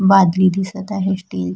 बादली दिसत आहे स्टील--